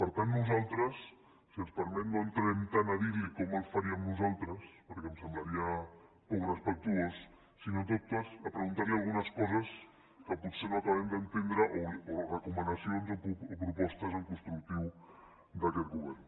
per tant nosaltres si ens permet no entrarem tant a dir li com el faríem nosaltres perquè em semblaria poc respectuós sinó en tot cas a preguntar li algunes coses que potser no acabem d’entendre o recomanacions o propostes en constructiu d’aquest govern